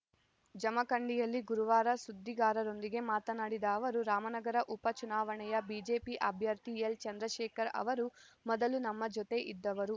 ಜಮಖಂಡಿಯಲ್ಲಿ ಗುರುವಾರ ಸುದ್ದಿಗಾರರೊಂದಿಗೆ ಮಾತನಾಡಿದ ಅವರು ರಾಮನಗರ ಉಪಚುನಾವಣೆಯ ಬಿಜೆಪಿ ಅಭ್ಯರ್ಥಿ ಎಲ್‌ಚಂದ್ರಶೇಖರ್‌ ಅವರು ಮೊದಲು ನಮ್ಮ ಜೊತೆ ಇದ್ದವರು